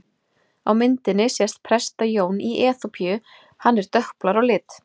Á myndinni sést Presta-Jón í Eþíópíu, hann er dökkblár á lit.